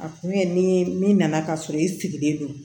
A kun ye ni min nana k'a sɔrɔ i sigilen do